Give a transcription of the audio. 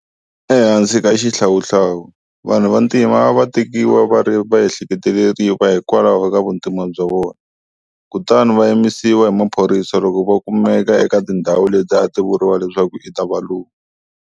Ehansi ka xihlawuhlawu, vanhu vantima a va tekiwa va ri va ehleketeleriwa hikwalaho ka vuntima bya vona kutani a va yimisiwa hi maphorisa loko va kumeka eka tindhawu leti a ti vuriwa leswaku i ta valungu.